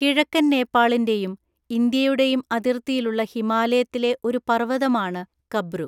കിഴക്കൻ നേപ്പാളിന്റെയും ഇന്ത്യയുടെയും അതിർത്തിയിലുള്ള ഹിമാലയത്തിലെ ഒരു പർവതമാണ് കബ്രു.